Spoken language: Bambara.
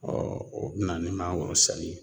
o bɛ na ni mangoro sanni ye